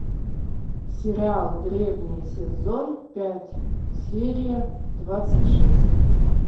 сериал древние сезон пять серия двадцать шесть